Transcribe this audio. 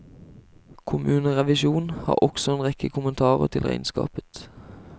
Kommunerevisjon har også en rekke kommentarer til regnskapet.